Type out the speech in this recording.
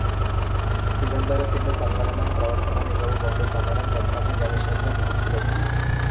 ചിദംബരത്തിൻ്റെ സംഘടനാ പ്രവർത്തന മികവുകൊണ്ട് സമരം പെട്ടെന്നു ജനശ്രദ്ധ പിടിച്ച് പറ്റി.